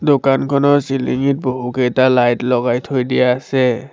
দোকানখনৰ চিলিঙিত বহুকেইটা লাইট লগাই থৈ দিয়া আছে।